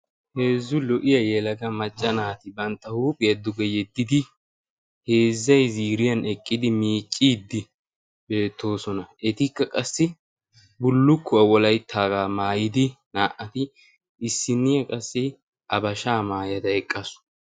heezzu lo77iya yeelaga macca naati bantta huuphiyaa duge yeddidi heezzay ziiriyan eqqidi miicciiddi beettoosona. etikka qassi bullukkuwaa wolayttaagaa maayidi naa77ati issinniyaa qassi habashaa maayada eqqasu.